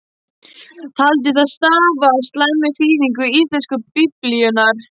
Taldi það stafa af slæmri þýðingu íslensku biblíunnar.